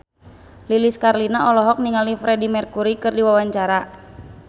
Lilis Karlina olohok ningali Freedie Mercury keur diwawancara